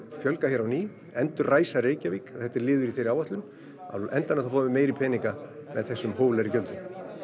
fjölga hér á ný endurræsa Reykjavík þetta er liður í þeirri áætlun á endanum þá fáum við meiri peninga úr þessum hóflegu gjöldum